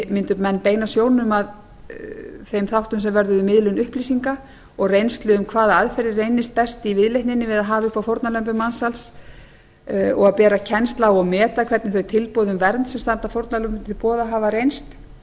mundu menn beina sjónum að þeim þáttum sem vörðuðu miðlun upplýsinga og reynslu um hvaða aðferðir reynist best í viðleitninni við að hafa upp á fórnarlömbum mansals og bera kennslu á og meta hvernig þau tilboð um vernd sem standa fórnarlömbum til boða hafa reynst